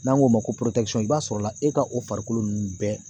N'an k'o ma ko i b'a sɔrɔ la e ka o farikolo ninnu bɛɛ